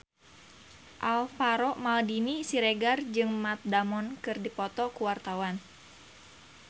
Alvaro Maldini Siregar jeung Matt Damon keur dipoto ku wartawan